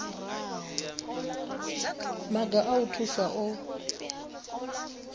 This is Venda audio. maga a u thusa o